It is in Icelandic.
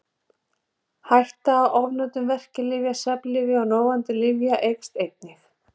Hætta á ofnotkun verkjalyfja, svefnlyfja og róandi lyfja eykst einnig.